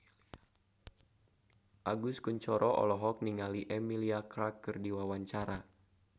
Agus Kuncoro olohok ningali Emilia Clarke keur diwawancara